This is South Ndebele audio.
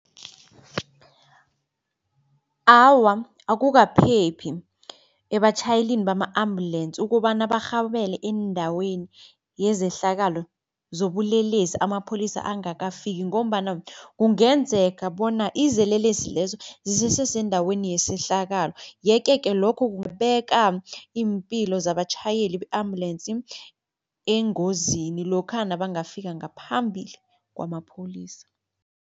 Awa, akukaphephi ebatjhayelini bama-ambulensi ukobana barhabele eendaweni yezehlakalo zobulelesi amapholisa angakafiki ngombana kungenzeka bona izelelesi lezo zisese sendaweni yesehlakalo. Yeke-ke lokho kungabeka iimpilo zabatjhayeli be-ambulensi engozini lokha nabangafika ngaphambili kwamapholisa.